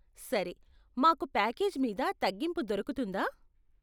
సరే, మాకు ప్యాకేజ్ మీద తగ్గింపు దొరుకుతుందా?